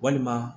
Walima